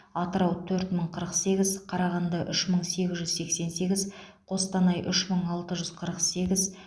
атырау төрт мың қырық сегіз қарағанды үш мың сегіз жүз сексен сегіз қостанай үш мың алты жүз қырық сегіз